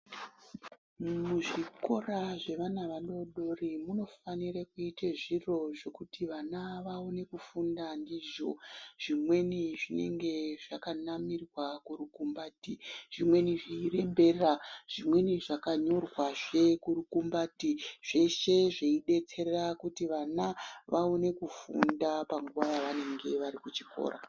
Muzvikora zvevana vadodori munofanire kuite zviro zvekuti vana vaone kufunda ndizvo. Zvimweni zvinge zvakanamirwa kurukumbati, zvimweni zveirembera, zvimweni zvakanyorwazve kurukumbati. Zveshe zveidetsera kuti vana vaone kufunda panguva yavanenge varikuchikora.